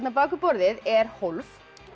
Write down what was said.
bak við borðið er hólf